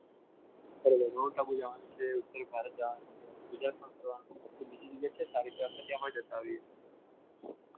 બરાબર માઉન્ટ આબુ જવાનું છે ઉત્તર ભારત જવાનું છે તો બીજી જગ્યા છે સારી એમાં જતા આવીએ.